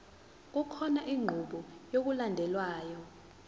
kukhona inqubo yokulandelayo